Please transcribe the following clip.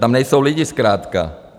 Tam nejsou lidi zkrátka.